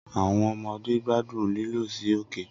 Awọn ọmọde gbadun lilọ si oke